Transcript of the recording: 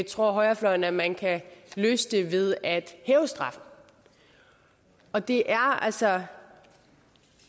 tror højrefløjen at man kan løse det ved at hæve straffen og det er altså